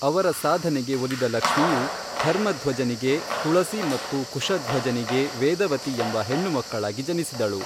ಅವರ ಸಾಧನೆಗೆ ಒಲಿದ ಲಕ್ಷ್ಮಿಯು ಧರ್ಮಧ್ವಜನಿಗೆ ತುಳಸಿ ಮತ್ತು ಕುಶಧ್ವಜನಿಗೆ ವೇದವತಿ ಎಂಬ ಹೆಣ್ಣುಮಕ್ಕಳಾಗಿ ಜನಿಸಿದಳು.